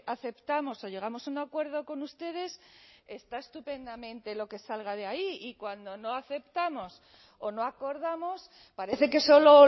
aceptamos o llegamos a un acuerdo con ustedes está estupendamente lo que salga de ahí y cuando no aceptamos o no acordamos parece que solo